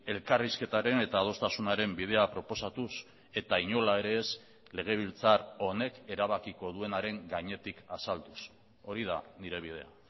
elkarrizketaren eta adostasunaren bidea proposatuz eta inola ere ez legebiltzar honek erabakiko duenaren gainetik azalduz hori da nire bidea